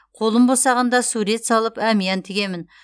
қолым босағанда сурет салып әмиян тігемін